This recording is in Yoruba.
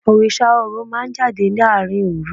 Orísà Orò ma n jadé larín orú